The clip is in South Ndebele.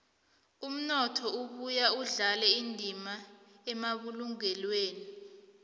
umnotho ubuye udlale indima emabulungelweni